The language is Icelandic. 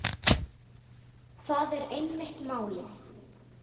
Það er einmitt málið.